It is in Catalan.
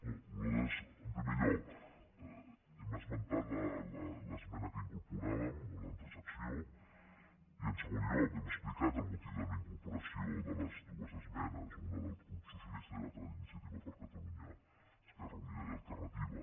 no nosaltres en primer lloc hem esmentat l’esmena que incorporàvem una transacció i en segon lloc hem explicat el motiu de la incorporació de les dues esmenes una del grup socialista i l’altra d’iniciativa per catalunya esquerra unida i alternativa